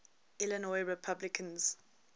illinois republicans